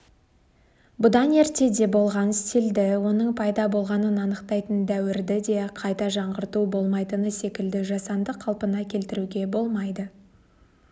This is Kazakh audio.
бұдан ертеде болған стильді оның пайда болғанын анықтайтын дәуірді де қайта жаңғырту болмайтыны секілді жасанды қалпына келтіруге болмайды